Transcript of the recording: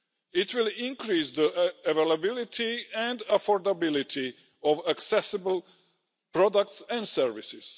It will increase the availability and affordability of accessible products and services.